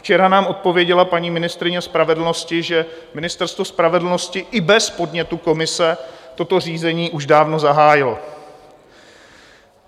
Včera nám odpověděla paní ministryně spravedlnosti, že Ministerstvo spravedlnosti i bez podnětu komise toto řízení už dávno zahájilo.